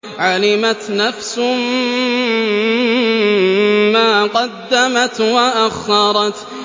عَلِمَتْ نَفْسٌ مَّا قَدَّمَتْ وَأَخَّرَتْ